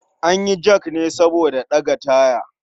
An yi jak ne saboda ɗaga taya.